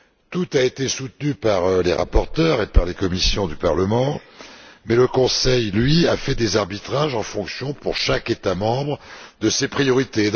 Tout a été soutenu par les rapporteurs et par les commissions du Parlement mais le Conseil, lui, a procédé à des arbitrages en fonction, pour chaque État membre, de ses priorités.